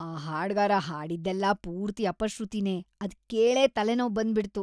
ಆ ಹಾಡ್ಗಾರ ಹಾಡಿದ್ದೆಲ್ಲ ಪೂರ್ತಿ ಅಪಶ್ರುತಿನೇ, ಅದ್ ಕೇಳೇ ತಲೆನೋವ್‌ ಬಂದ್ಬಿಡ್ತು.